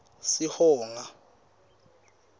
sihonga